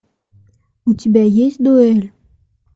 у тебя есть дуэль